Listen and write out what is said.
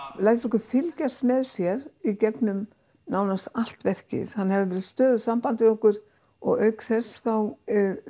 lætur okkur fylgjast með sér í gegnum nánast allt verkið hann hefur stöðugt samband við okkur og auk þess þá